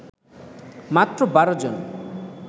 মাত্র ১২ জন